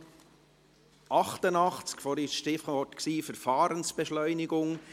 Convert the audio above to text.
Vorhin lautete das Stichwort «Verfahrensbeschleunigung».